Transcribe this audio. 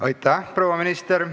Aitäh, proua minister!